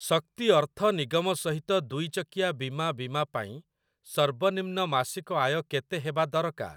ଶକ୍ତି ଅର୍ଥ ନିଗମ ସହିତ ଦୁଇ ଚକିଆ ବୀମା ବୀମା ପାଇଁ ସର୍ବନିମ୍ନ ମାସିକ ଆୟ କେତେ ହେବା ଦରଳାର?